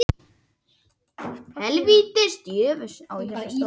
Þegar menn hljóta áverka eru fyrstu viðbrögð þess vegna oft kæling.